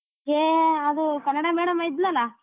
ಹೇ ಅದು ಕನ್ನಡ madam ಇದ್ಲಲ್ಲಾ.